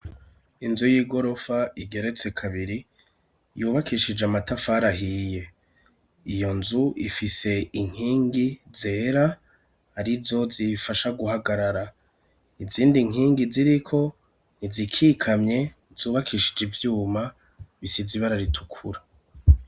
Inzu y'igorofa igeretse kabiri yubakishije amatafari ahiye, iyo nzu ifise inkingi zera arizo ziyifasha guhagarara, izindi nkingi ziriko ntizikikamye zubakishije ivyuma bisize ibara ritukura.